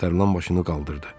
Nərmin başını qaldırdı.